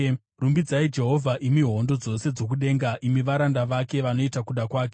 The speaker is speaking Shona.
Rumbidzai Jehovha, imi hondo dzose dzokudenga, imi varanda vake vanoita kuda kwake.